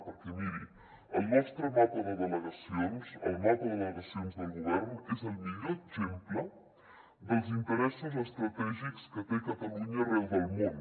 perquè miri el nostre mapa de delegacions el mapa de delegacions del govern és el millor exemple dels interessos estratègics que té catalunya arreu del món